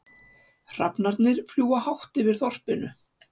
Hrafnarnir fljúga hátt yfir þorpinu.